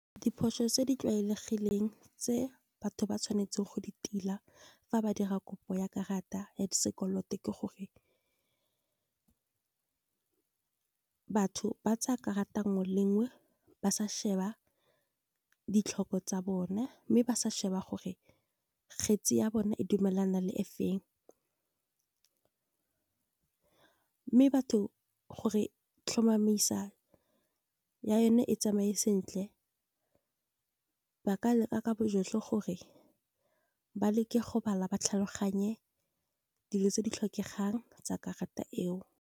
Diphoso tse di tlwaelegileng tse batho ba tshwanetseng go di tila fa ba dira kopo ya karata ya sekoloto ke gore. Batho ba tsa karata nngwe le nngwe ba sa sheba ditlhoko tsa bona, mme ba sa sheba gore kgetsi ya bona e dumelana le e feng. Mme batho gore tlhomamisa ya yone e tsamaye sentle, ba ka leka ka bojotlhe gore ba leke go bala ba tlhaloganye, dilo tse di tlhokegang tsa karata eo.